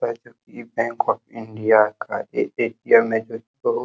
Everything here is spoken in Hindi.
बैंक ऑफ़ इंडिया का ए ए_टी_म है जो कि बहुत --